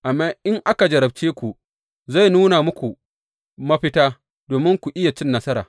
Amma in aka jarrabce ku, zai nuna muku mafita, domin ku iya cin nasara.